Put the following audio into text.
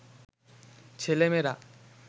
ছেলে-মেয়েরা